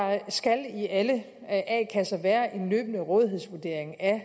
skal i alle a kasser være en løbende rådighedsvurdering af